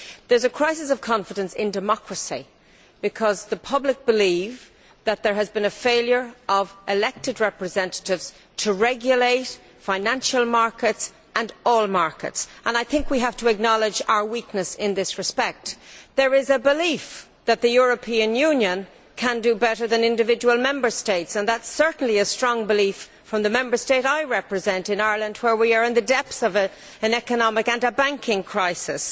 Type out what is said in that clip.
There is a crisis of confidence in democracy because the public believes that there has been a failure of elected representatives to regulate financial markets and all markets. I think we have to acknowledge our weakness in this respect. There is a belief that the European Union can do better than individual Member States, and that is certainly a strong belief in the Member State I represent, Ireland, where we are in the depths of an economic and banking crisis